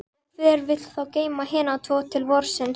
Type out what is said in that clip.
Og hver vill þá geyma hina tvo til vorsins?